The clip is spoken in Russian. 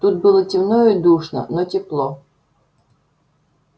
тут было темно и душно но тепло